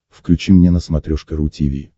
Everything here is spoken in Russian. включи мне на смотрешке ру ти ви